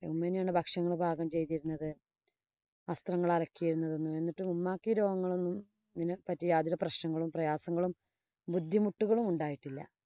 ഉമ്മ തന്നെയാണ് ഭക്ഷണം പാകം ചെയ്തിരുന്നത്. വസ്ത്രങ്ങള്‍ അലക്കിയിരുന്നത്. എന്നാലും ഈ രോഗങ്ങളൊന്നും ഇത്നെ പറ്റി യാതൊരു പ്രശ്നങ്ങളും, പ്രയാസങ്ങളും, ബുദ്ധിമുട്ടുകളും ഉണ്ടായിട്ടില്ല.